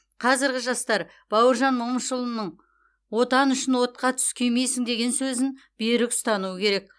қазіргі жастар бауыржан момышұлының отан үшін отқа түс күймейсің деген сөзін берік ұстануы керек